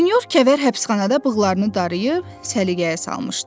Sinor Kəvər həbsxanada bığlarını darıyıb, səliqəyə salmışdı.